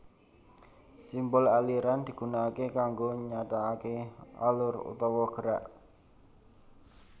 Simbol aliran digunakaké kanggo nyatakaké alur utawa gerak